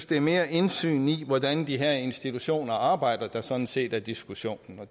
det mere er indsynet i hvordan de her institutioner arbejder der sådan set er diskussionen og